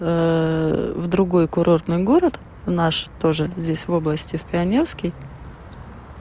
в другой курортный город в наш тоже здесь в области в пионерский